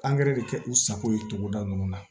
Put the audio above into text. Angɛrɛ de kɛ u sago ye togoda ninnu na